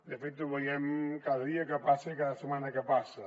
de fet ho veiem cada dia que passa i cada setmana que passa